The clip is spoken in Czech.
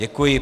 Děkuji.